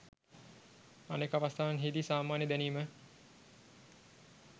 අනෙක් අවස්ථාවන්හිදී "සාමාන්‍ය දැනීම"